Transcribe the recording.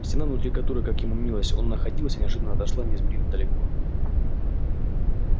стена внутри которой как ему мнилось он находился неожиданно отошла неизмеримо далеко